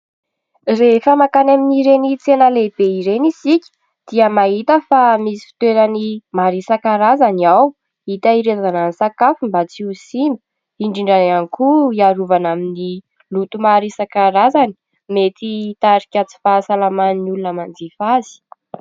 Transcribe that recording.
Rehefa makany amin'ny ireny tsena lehibe ireny isika dia mahita fa misy fitoerany maro isan-karazany ao hitahirizana ny sakafo mba tsy ho simba. Indrindra ihany koa hiarovana amin'ny loto maro isan-karazany mety hitarika tsy fahasalaman'ny olona manjifa azy.